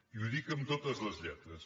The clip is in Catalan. i ho dic amb totes les lletres